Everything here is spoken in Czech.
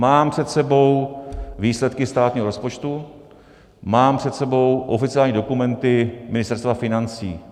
Mám před sebou výsledky státního rozpočtu, mám před sebou oficiální dokumenty Ministerstva financí.